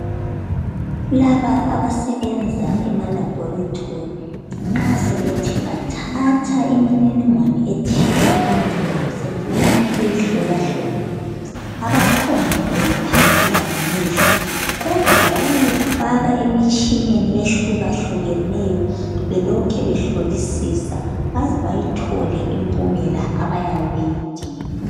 Laba abasebenza ema laboratory nxa sebethe bathatha imininingwane ethile ebantwini sebefuna ukuyihlolahlola, abaphonguyikhangela ngamehlo kodwa bayayifaka emitshineni ehlukahlukeneyo belokhe behlolisisa baze bayithole impumela abayabe beyidinga.